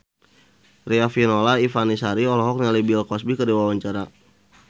Riafinola Ifani Sari olohok ningali Bill Cosby keur diwawancara